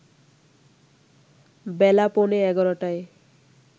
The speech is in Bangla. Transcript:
বেলা পৌনে ১১টায়